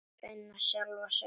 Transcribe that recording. Finna sjálfa sig.